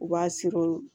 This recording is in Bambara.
U b'a siri